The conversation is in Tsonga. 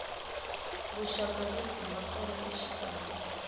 vuxaka lebyi nga kona exikarhi